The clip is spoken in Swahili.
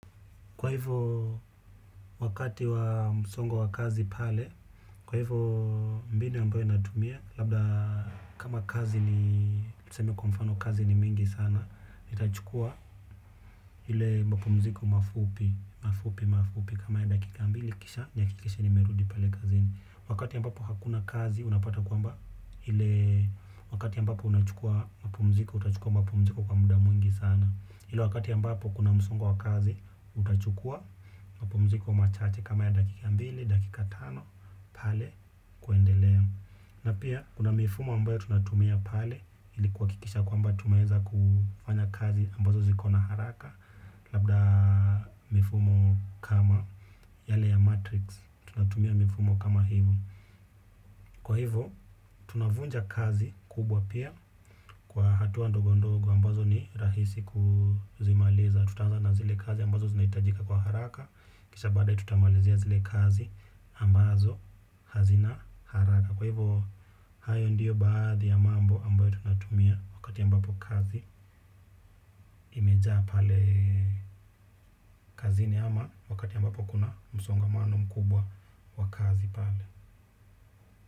Kwa hivyo, wakati wa msongo wa kazi pale, kwa hivyo mbinu ambayo natumia, labda kama kazi ni tuseme kwa mfano kazi ni mingi sana, nitachukua ile mapumziko mafupi, mafupi, mafupi. Kama ya dakika mbili kisha, nihakikishe nimerudi pale kazini. Wakati ambapo hakuna kazi, unapata kwamba ile wakati ambapo unachukua mapumziko, utachukua mapumziko kwa muda mwingi sana. Hilo wakati ambapo kuna msongo wa kazi, utachukua, mapumziko machache kama ya dakika mbili, dakika tano, pale, kuendelea. Na pia, kuna mifumo ambayo tunatumia pale, ili kuhakikisha kwamba tumeweza kufanya kazi ambazo ziko na haraka, labda mifumo kama yale ya matrix, tunatumia mifumo kama hivo. Kwa hivo, tunavunja kazi kubwa pia kwa hatua ndogondogo ambazo ni rahisi kuzimaliza. Tutaanza na zile kazi ambazo zina hitajika kwa haraka. Kisha baadae tutamalizia zile kazi ambazo hazina haraka. Kwa hivyo, hayo ndiyo baadhi ya mambo ambayo tunatumia wakati ambapo kazi imejaa pale kazini ama wakati ambapo kuna msongamano mkubwa wa kazi pale.